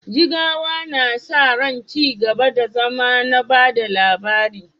Jigawa na sa ran ci gaba da zama na ba da labari